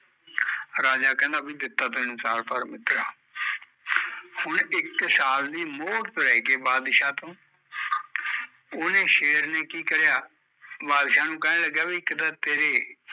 ਰਾਜਾ ਕਹਿੰਦਾ ਵੀ ਦਿੱਤਾ ਤੈਨੂ ਸਾਲ ਪਰ ਮਿੱਤਰਾਂ ਹੁਣ ਇੱਕ ਸਾਲ ਦੀ ਮੋਹਲਤ ਲੈ ਕੇ ਬਾਦਸ਼ਾਹ ਤੋਂ ਓਹਨੇ ਸ਼ੇਰ ਨੇ ਕੀ ਕਰਿਆ ਬਾਦਸ਼ਾਹ ਨੂ ਕਹਿਣ ਲੱਗਿਆ ਵੀ ਇੱਕ ਤਾਂ ਤੇਰੇ